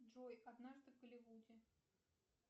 джой однажды в голливуде